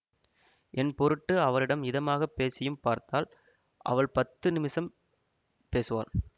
என் பொருட்டு அவரிடம் இதமாகப் பேசியும் பார்த்தாள் அவள் பத்து நிமிஷம் பேசுவாள்